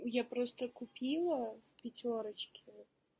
я просто купила в пятёрочке